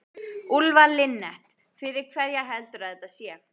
Úlfar Linnet: Fyrir hverja heldurðu að þetta sé?